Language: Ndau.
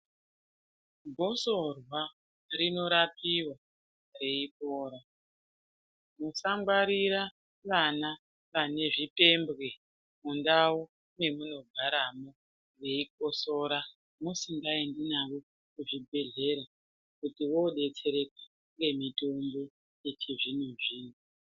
Gosorwa rinorapiwa reyi pora, musangwarira vana vanezvipembwe mundau mamunogaramo, veyikosora musingaendi navo kuzvibhedhlera, kuti vodetsereka ngemitombo yechizvino-zvino.